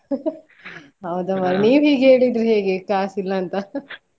ಹೌದ ಮರ್ರೆ ನೀವ್ ಹೀಗೆ ಹೇಳಿದ್ರೆ ಹೇಗೆ ಕಾಸಿಲ್ಲಾ ಅಂತಾ.